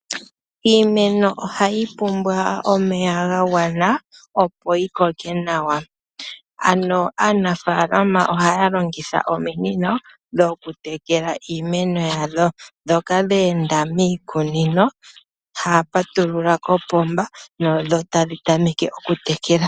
Iimeno ohayi pumbwa omeya ga gwana opo yi koke nawa. Ano aanafaalama ohaya longitha ominino dhokutekela iimeno yawo. Ndhoka dhe enda miikunino ohaya patulula kopomba dho otadhi tameke okutekela .